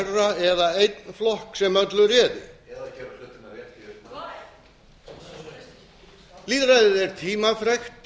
einræðisherra eða einn flokk sem öllu réði eða gera hlutina rétt í upphafi lýðræðið er tímafrekt